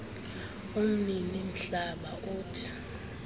umnini mhlaba uthi